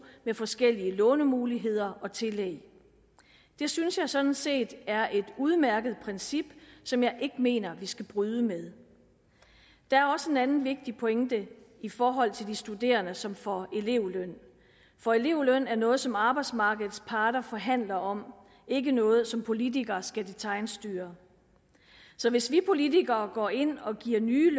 med forskellige lånemuligheder og tillæg det synes jeg sådan set er et udmærket princip som jeg ikke mener vi skal bryde med der er også en anden vigtig pointe i forhold til de studerende som får elevløn for elevløn er noget som arbejdsmarkedets parter forhandler om ikke noget som politikere skal detailstyre så hvis vi politikere går ind og giver nye